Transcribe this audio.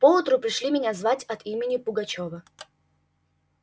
поутру пришли меня звать от имени пугачёва